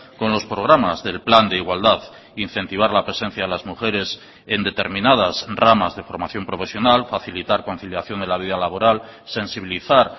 con los programas del plan de igualdad incentivar la presencia de las mujeres en determinadas ramas de formación profesional facilitar conciliación de la vida laboral sensibilizar